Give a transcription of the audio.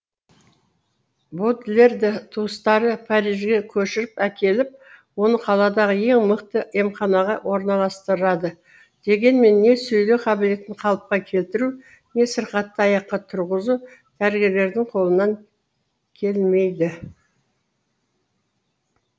бодлерді туыстары парижге көшіріп әкеліп оны қаладағы ең мықты емханаға орналастырады дегенмен не сөйлеу қабілетін қалыпқа келтіру не сырқатты аяққа тұрғызу дәрігерлердің қолынан келмейді